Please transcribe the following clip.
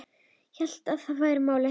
Hélt að það væri málið.